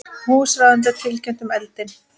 Húsráðendur tilkynntu um eldinn